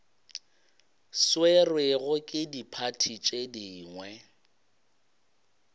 swerwego ke diphathi tše dingwe